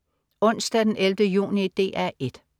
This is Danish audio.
Onsdag den 11. juni - DR 1: